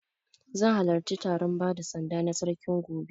Zan halarci taron bada sanda na Sarkin gobe.